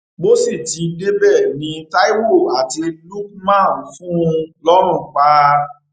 bó sì ti débẹ ni taiwo àti lukman fún un lọrùn pa